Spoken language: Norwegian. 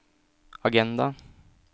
agenda